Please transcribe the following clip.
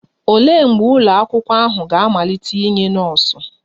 Olee mgbe ụlọ akwụkwọ ahụ ga-amalite inye nọọsụ?